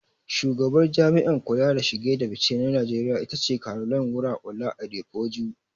Shugabar Jami'an kula da shige da fice na Najeriya ita ce Caroline Wura-Ola Adepoju.